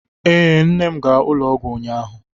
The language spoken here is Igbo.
Ee, nne m gara ụlọọgwụ ụnyaahụ.